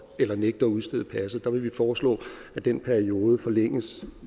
eller nægte at udstede passet der vil vi foreslå at den periode forlænges